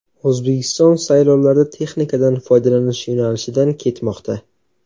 O‘zbekiston saylovlarda texnikadan foydalanish yo‘nalishidan ketmoqda.